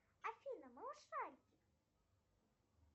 афина малышарики